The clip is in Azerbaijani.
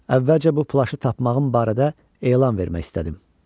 Əvvəlcə bu plaşı tapmağım barədə elan vermək istədim.